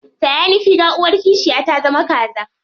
Taya ni figa, uwar kishiya ta zama kaza.